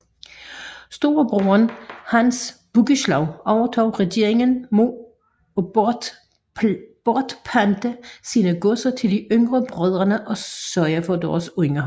Storebroderen Hans Bugislav overtog regeringen mod at bortpante sine godser til de yngre brødre og sørge for deres underhold